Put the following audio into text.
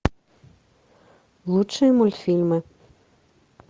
лучшие мультфильмы